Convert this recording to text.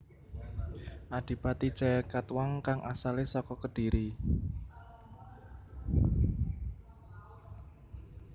Adipati Jayakatwang kang asalé saka Kediri